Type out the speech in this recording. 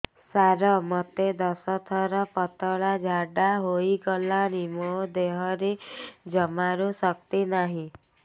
ସାର ମୋତେ ଦଶ ଥର ପତଳା ଝାଡା ହେଇଗଲାଣି ମୋ ଦେହରେ ଜମାରୁ ଶକ୍ତି ନାହିଁ